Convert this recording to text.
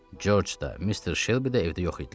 Corc da, Mr. Şelbi də evdə yox idilər.